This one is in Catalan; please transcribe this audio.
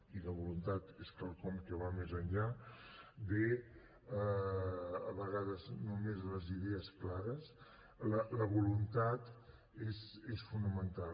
i la voluntat és quelcom que va més enllà de a vegades només les idees clares la voluntat és fonamental